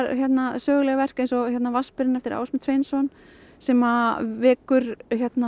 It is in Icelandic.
sögulegt verk eins og vatnsberinn eftir Ásmund Sveinsson sem vekur